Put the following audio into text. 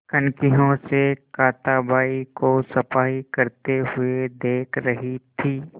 कनखियों से कांताबाई को सफाई करते हुए देख रही थी